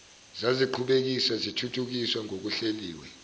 zaziqhubekiswa zithuthukiswa ngokuhleliwe